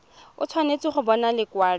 o tshwanetse go bona lekwalo